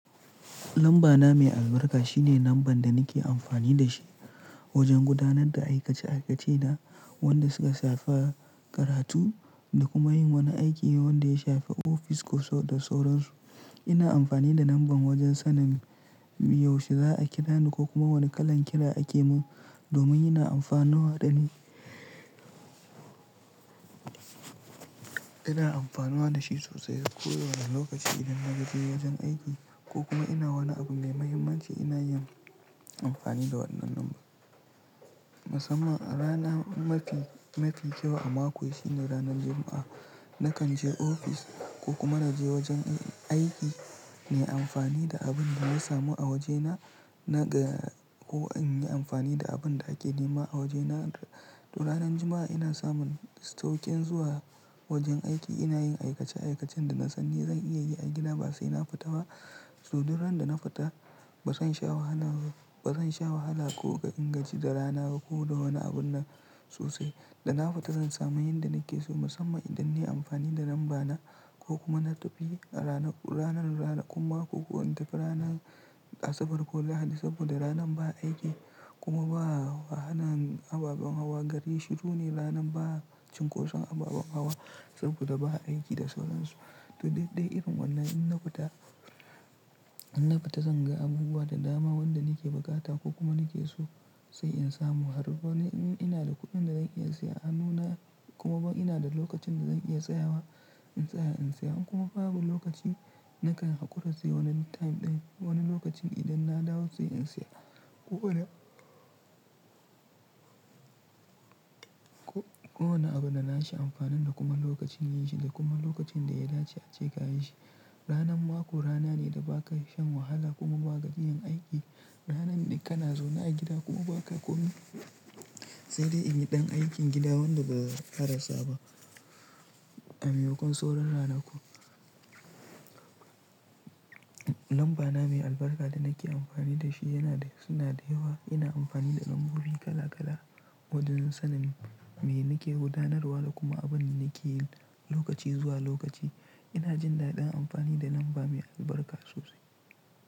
Lamba na mai albarka shine lambar da nake amfani da shi wajen gudanar da aikace aikacena, wanda suka shafa karatu da kuma yin wani aiki wanda ya shafi ofis da sauran su. Ina amfani da lambar wajen sanin yaushe za'a kira ni ko kuma wane kalan kira ake mun domin ina amfanuwa da ni. Ina amfanuwa da shi sosai a kowane lokaci idan na je wajen aiki ko kuma ina wani abu mai muhimmanci ina yin amfani da wannan lambar. Musamman a rana mafi kyau a mako shine ranan Juma'a. Nakan je ofis ko kuma na je wajen aiki, na yi amfani da abin da na samu a waje na ko in yi amfani da abin da ake nema a waje na. To ranan Juma'a ina samun sauƙin zuwa wajen aiki, ina yin aikace aikacen da na sani zan iya yi a gida ba sai na fita ba. So duk ran da na fita ba zan sha wahala ko in gaji da rana ko da wani abun na sosai. Da na fita zan samu yin da nake so musamman idan nayi amfani da lamba na ko kuma na tafi ranan, ranan kuma ko in tafi ranan Asabar ko Lahadi saboda ranan ba aiki kuma ba wahalan ababen hawa gari. Shi duk ne ranan ba cinkoson ababen hawa saboda ba aiki da sauran su. To dai-dai irin wannan in na fita zan ga abubuwa da dama wanda nake buƙata ko kuma nake so sai in samu har ba ina da kuɗin da zan iya siya a nuna kuma ba ina da lokacin da zan iya tsayawa in tsaya in siya kuma babu lokaci nakan haƙura sai wani time ɗin wani lokacin idan na dawo sai in siya. Ko wani abu da nashi amfanin da kuma lokacin yashi da kuma lokacin da ya dace ace kayi shi. Ranan mako rana ne da ba ka shan wahala kuma ba ka gajiyan aiki. Ranan ne kana zaune a gida kuma ba ka komai sai dai in yi dan aikin gida wanda ba a rasa ba. A maimakon sauran ranaku. Lamba na mai albarka da nake amfani da shi suna da yawa. Ina amfani da lambobi kala-kala wajen sanin me nake gudanarwa da kuma abin nake yi lokaci zuwa lokaci. Ina jin daɗin amfani da lamba mai albarka sosai.